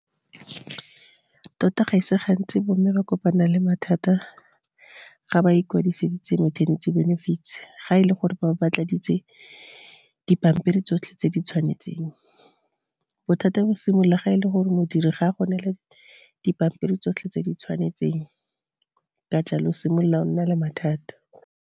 Tota ga se gantsi bo mme ba kopana le mathata ga ba ikwadiseditse meternity benefits, ga e le gore ba bo ba tladitse dipampiri tsotlhe tse di tshwanetseng. Bothata bo simolola ga e le gore modiri ga go nele dipampiri tsotlhe tse di tshwanetseng, ka jalo o simolola o nna le mathata.